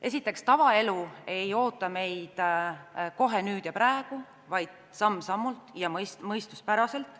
Esiteks, tavaelu ei oota meid kohe nüüd ja praegu, vaid me jõuame selleni samm-sammult ja mõistuspäraselt.